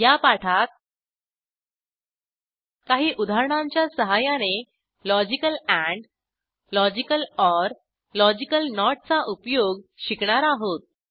या पाठात काही उदाहरणांच्या सहाय्याने logical and logical or logical not चा उपयोग शिकणार आहोत